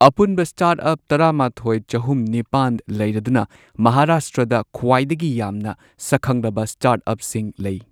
ꯑꯄꯨꯟꯕ start up ꯇꯔꯥꯃꯥꯊꯣꯏ, ꯆꯍꯨꯝ ꯅꯤꯄꯥꯟ ꯂꯩꯔꯗꯨꯅ ꯃꯍꯥꯔꯥꯁꯇ꯭ꯔꯗ ꯈ꯭ꯋꯥꯏꯗꯒꯤ ꯌꯥꯝꯅ ꯁꯛꯈꯪꯂꯕ ꯁ꯭ꯇꯥꯔ꯭ꯠ ꯑꯞꯁꯤꯡ ꯂꯩ꯫